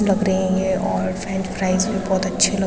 लग रही है और फ्रेंच फ्राइज भी बहोत अच्छी लग --